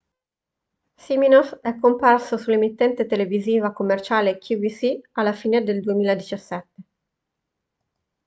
siminoff è comparso sull'emittente televisiva commerciale qvc alla fine del 2017